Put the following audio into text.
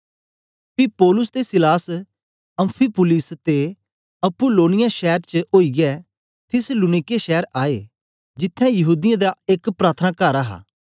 पी पौलुस ते सीलास अम्फिपुलिस ते अप्पुलोनिया शैर चें ओईयै थिस्सलुनीके शैर आए जिथें यहूदीयें दा एक प्रार्थनाकार हा